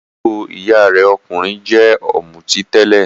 Àbúrò ìyá rẹ̀ okunrin jẹ́ ọ̀mùtí tẹ́lẹ̀.